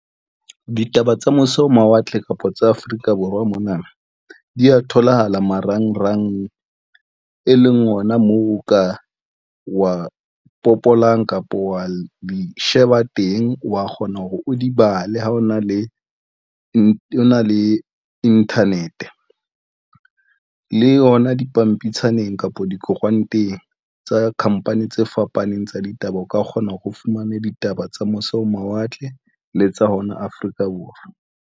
Ditaba tsa mose ho mawatle kapa tsa Afrika Borwa mona di ya tholahala marangrang, e leng ona moo o ka wa popolang kapa wa di sheba teng, wa kgona hore o di bale ha ona, le nna le internet le yona dipampitshaneng kapa dikoranteng tsa company tse fapaneng tsa ditaba, o ka kgona hore o fumane ditaba tsa mose ho mawatle le tsa hona Afrika Borwa.